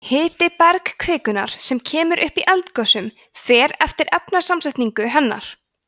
hiti bergkvikunnar sem kemur upp í eldgosum fer eftir efnasamsetningu hennar